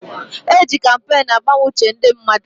E ji kampeenu agbanwe uche ndị mmadụ.